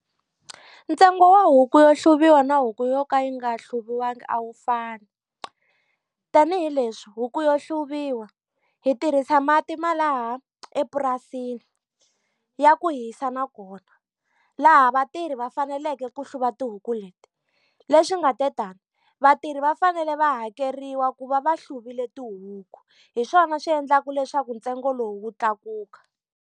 Ntsengo wa huku yo hluvuriwa na huku yo ka yi nga hluviwangi a wu fani. Tanihi leswi huku yo hluvuriwa, hi tirhisa mati ma laha epurasini, ya ku hisa nakona, laha vatirhi va faneleke ku hluva tihuku leti. Leswi nga te tani, vatirhi va fanele va hakeriwa ku va va hluvile tihuku. Hi swona swi endlaka leswaku ntsengo lowu wu tlakuka.